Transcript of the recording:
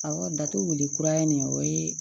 Awɔ datugu wuli kura ye nin o ye